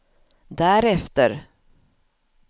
därefter